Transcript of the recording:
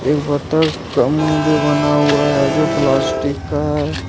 बतख का मुंह भी बना हुआ है जो प्लास्टिक का है।